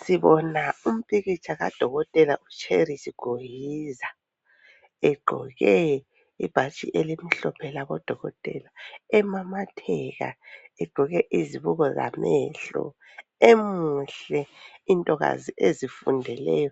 Sibona umpikitsha kadokotela uCherise Gohiza egqoke ibhatshi elimhlophe labodokotela, emamatheka egqoke izibuko zamehlo, emuhle intokazi ezifundeleyo